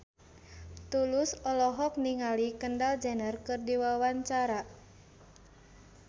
Tulus olohok ningali Kendall Jenner keur diwawancara